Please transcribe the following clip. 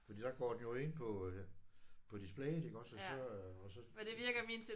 Fordi der går den jo ind på på displayet iggås og så og så